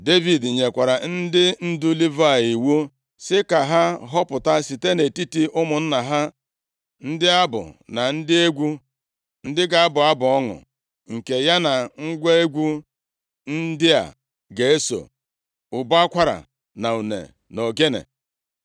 Devid nyekwara ndị ndu Livayị iwu sị ka ha họpụta site nʼetiti ụmụnna ha ndị abụ na ndị egwu, ndị ga-abụ abụ ọṅụ, nke ya na ngwa egwu ndị a ga-eso: ụbọ akwara, une na ogene.